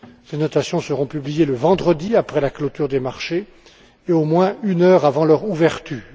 Ces notations seront publiées le vendredi après la clôture des marchés et au moins une heure avant leur ouverture.